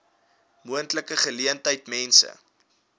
moontlike geleentheid mense